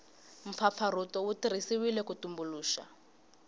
mpfapfarhuto wu tirhisiwile ku tumbuluxa